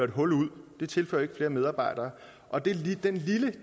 et hul ud det tilfører ikke flere medarbejdere og det